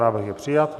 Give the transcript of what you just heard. Návrh je přijat.